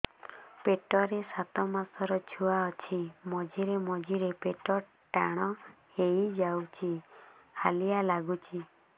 ପେଟ ରେ ସାତମାସର ଛୁଆ ଅଛି ମଝିରେ ମଝିରେ ପେଟ ଟାଣ ହେଇଯାଉଚି ହାଲିଆ ଲାଗୁଚି